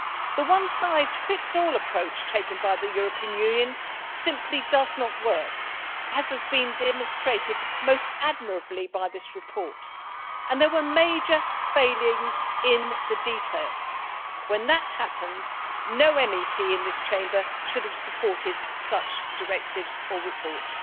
The one size fits all approach taken by the European Union simply does not work, as has been demonstrated most admirably by this report, and there were major failings in the detail. When that happens, no MEP in this Chamber should have supported such directives or reports.